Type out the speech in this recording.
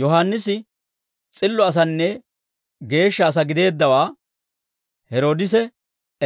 Yohaannisi s'illo asanne geeshsha asaa gideeddawaa Heroodise